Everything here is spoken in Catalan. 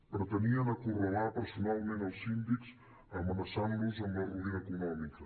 pretenien acorralar personalment els síndics amenaçant los amb la ruïna econòmica